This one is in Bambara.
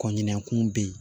Kɔɲinakun bɛ yen